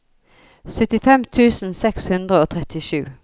syttifem tusen seks hundre og trettisju